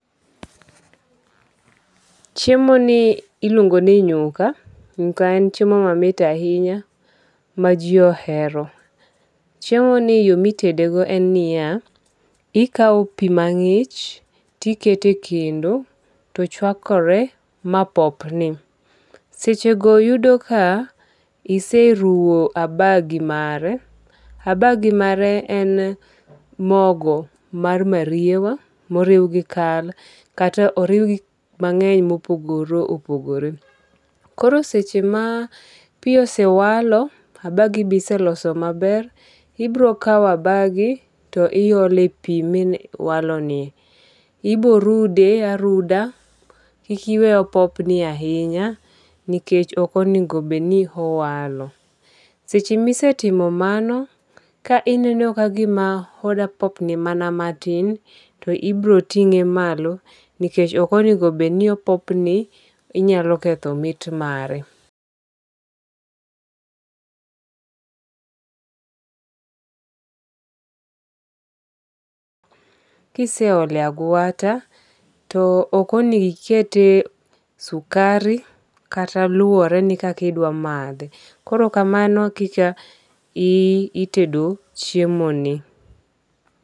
Chiemo ni iluongo ni nyuka. Nyuka en chiemo mamit ahinya ma ji ohero. Chiemo ni yo mitedego en niya, Ikaw pi mang'ich tiketo e kendo to chwakore ma popni. Seche go yudo ka iseruwo abagi mare. Abagi mare en mogo mar mariewa moriw gi kal kata oriw gik mang'eny mopogore opogore. Koro seche ma pi osewalo abagi bi iseloso maber. Ibiro kaw abagi to iole pi ma owalo ni. Ibo rude aruda. Kik iwe opopni ahinya. Nikech ok onego bed ni owalo. Seche ma isetimo mano ka ineno ka gima odwa popni mana matin to ibiro ting'e malo nikech ok onego bed ni opopni inyalo keth mit mare. Kise ole agwata to ok onengo ikete sukari kata luwere ni kaki idwa madhe. Koro kamano e kaka itedo chiemo ni.